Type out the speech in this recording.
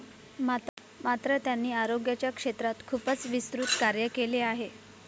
मात्र, त्यांनी आरोग्याच्या क्षेत्रात खूपच विस्तृत कार्य केले आहे.